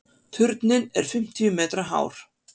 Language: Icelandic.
Turninn er fimmtíu metra hár.